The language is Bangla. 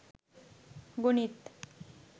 গণিত